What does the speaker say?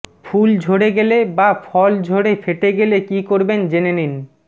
ফুল ঝরে গেলে বা ফল ঝরে ফেটে গেলে কি করবেন জেনে নিন